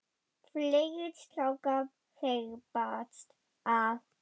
Fleiri strákar þyrpast að.